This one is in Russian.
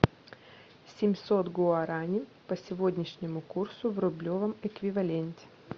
семьсот гуарани по сегодняшнему курсу в рублевом эквиваленте